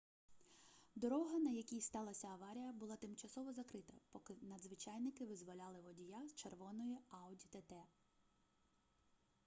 дорога на якій сталася аварія була тимчасово закрита поки надзвичайники визволяли водія з червоної audi тт